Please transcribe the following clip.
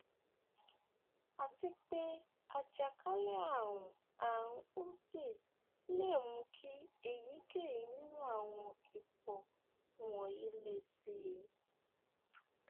àti pé àjàkálẹ ààrùn ààrùn urti le mú kí èyíkéyìí nínú àwọn ipò wọnyií le síi